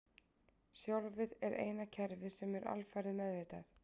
Sjálfið er eina kerfið sem er alfarið meðvitað.